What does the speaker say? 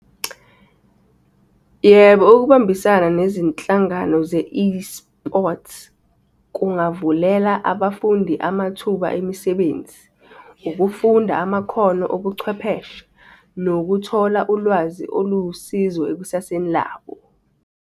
Yebo, ukubambisana nezinhlangano ze-eSports kungavulela abafundi amathuba emisebenzi, ukufunda amakhono obuchwepheshe nokuthola ulwazi oluwusizo ekusaseni labo.